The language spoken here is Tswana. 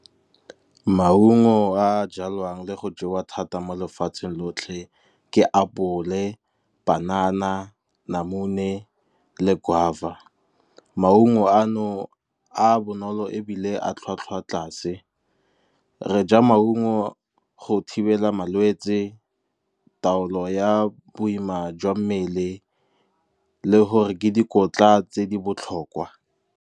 Maungo a a jalwang le go jewa thata mo lefatsheng lotlhe ke apole, panana, namune le guava. Maungo a no a bonolo ebile a tlhwatlhwa tlase, re ja maungo go thibela malwetsi, taolo ya boima jwa mmele le gore ke dikotla tse di botlhokwa.